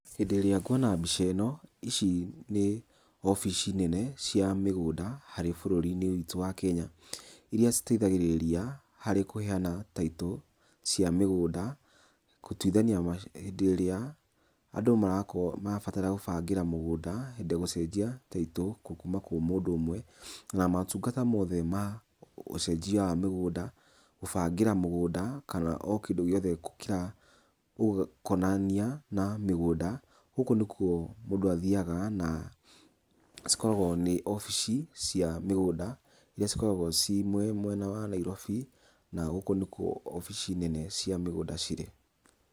Hĩndĩ ĩrĩa nguona mbica ĩno, ici nĩ obici nene cia mĩgũnda harĩ bũrũri-inĩ witũ wa Kenya, iria citeithagĩrĩria harĩ kũheana title cia mĩgũnda, gũtuithania ma hĩndĩ ĩrĩa andũ marakorwo marabatara gũbangĩra mũgũnda hĩndĩ ya gũcenjia title kuuma kwi mũndũ ũmwe na motungata mothe ma ũcenjia wa mĩgũnda, gũbangĩra mũgũnda kana o kĩndũ gĩothe kĩrakonania na mĩgũnda, gũkũ nĩ kuo mũndũ athiaga na cikoragwo nĩ obici cia mĩgũnda, iria cikoragwo ciĩ mwena wa Nairobi na gũkũ nĩkuo obici nene cia mĩgũnda cirĩ.